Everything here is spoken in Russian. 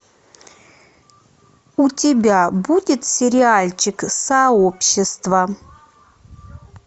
у тебя будет сериальчик сообщество